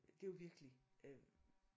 Det jo virkelig øh